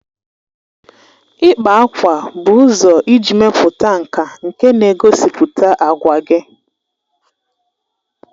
Ịkpa ákwà bụ ụzọ iji mepụta nka nke na-egosipụta àgwà gị